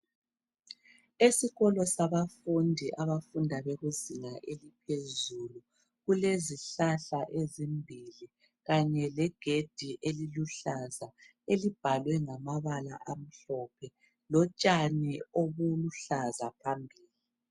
Esikolo sabafundi abafunda bekuzinga eliphezulu kulezihlahla ezimbili kanye legedi eliluhlaza elibhalwe ngamabala amhlophe lotshani obuluhlaza phambili.